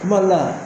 Kuma dɔ la